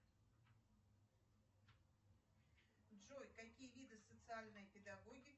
джой какие виды социальной педагогики